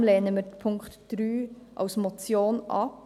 Deshalb lehnen wir Punkt 3 als Motion ab.